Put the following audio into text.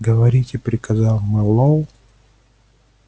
говорите приказал мэллоу